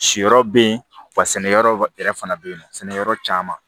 Siyɔrɔ bɛ yen wa sɛnɛyɔrɔ yɛrɛ fana bɛ yen nɔ sɛnɛyɔrɔ caman